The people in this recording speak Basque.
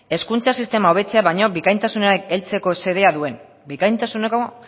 hezkuntza sistema hobetzea baino bikaintasunera heltzeko xedea duen bikaintasuneko